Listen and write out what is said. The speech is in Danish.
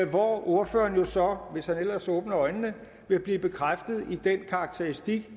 hvor ordføreren jo så hvis han ellers åbner øjnene vil blive bekræftet i denne karakteristik